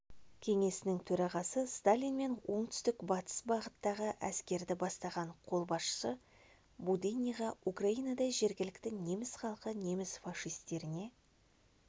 кеңесінің төрағасы сталин мен оңтүстік-батыс бағыттағы әскерді бастаған қолбасшы буденныйға украинада жергілікті неміс халқы неміс-фашистеріне